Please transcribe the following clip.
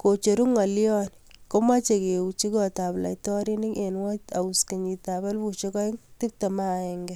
kocheruu ngolion komechei keuchi kot ab laitorinik eng Whitehouse 2021